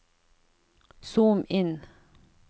zoom inn